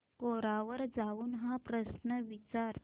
कोरा वर जाऊन हा प्रश्न विचार